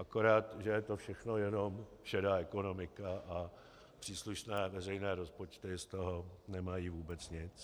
Akorát že je to všechno jenom šedá ekonomika a příslušné veřejné rozpočty z toho nemají vůbec nic.